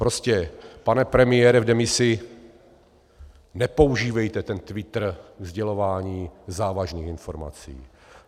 Prostě, pane premiére v demisi, nepoužívejte ten Twitter ke sdělování závažných informací.